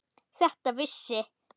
Þetta vissi